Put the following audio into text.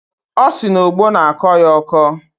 Ọ sị na ogbo na-akọ ya ọkọ.